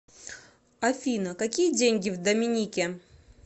афина какие деньги в доминике